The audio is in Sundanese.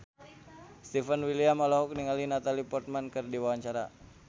Stefan William olohok ningali Natalie Portman keur diwawancara